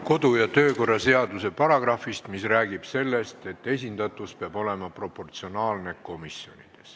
Kodu- ja töökorra seaduse paragrahvist, mis räägib sellest, et esindatus komisjonides peab olema proportsionaalne.